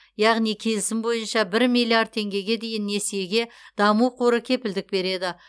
яғни келісім бойынша бір миллиард теңгеге дейінгі несиеге даму қоры кепілдік береді